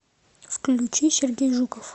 включи сергей жуков